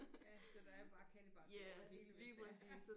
Ja så der er bare kattebakke over det hele hvis det er